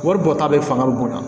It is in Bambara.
Wari bɔ ta bɛ fanga bonya